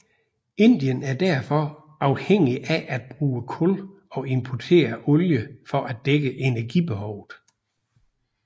Indien er derfor afhængig af at bruge kul og importere olie for at dække energibehovet